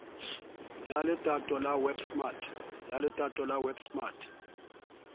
ya letoto la web smart